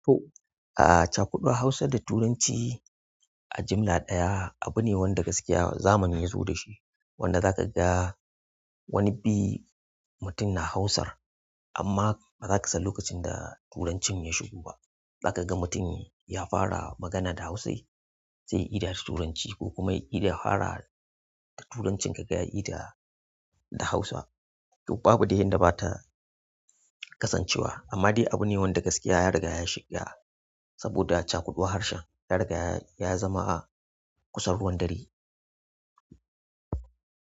To, a'a, cakuduwar Hausa da Turanci a jimla ɗaya abu ne wanda gaskiya zamani ya zo da shi. Wanda zaka ga wani bi mutum na Hausar amma bazaka san lokacin da Turancin ya shigo ba. Zaka ga mutum ya fara magana da Hausa sai ya ida da Turanci ko kuma ya ida ya fara da Turancin ka ga ya ida da Hausa. To babu dai yanda bata kasancewa amma dai abu ne wanda gaskiya ya riga ya ya shiga saboda cakuduwar harshen ya riga ya ya zama a kusa ruwan dare.